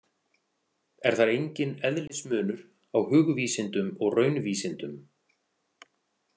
Er þar enginn eðlismunur á hugvísindum og raunvísindum.